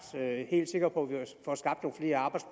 helt sikker på